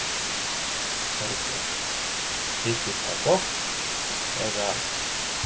Þorbjörn: Þykir það gott, eða?